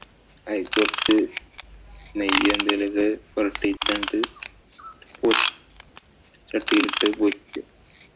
അതില് കൊറച്ചു നെയ്യും എന്തേലും പൊരട്ടീട്ട് അങ്ങട്ട് ചട്ടീലിട്ടു പൊരിക്കുക.